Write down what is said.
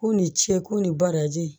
K'u ni ce u ni baraji